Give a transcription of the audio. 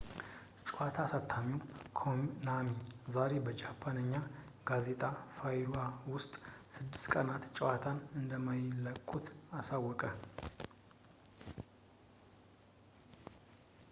ጨዋታ አሳታሚው ኮናሚ ዛሬ በጃፓንኛ ጋዜጣ ፋሉሃ ውስጥ ስድስት ቀናት ጨዋታን እንደማይለቁት አሳወቀ